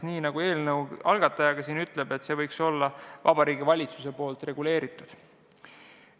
Nagu eelnõu algatajagi ütles, see võiks olla Vabariigi Valitsuse reguleeritud.